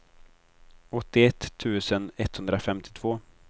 åttioett tusen etthundrafemtiotvå